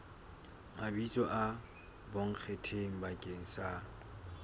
mabitso a bonkgetheng bakeng sa